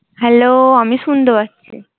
Hello আমি শুনতে পাচ্ছি।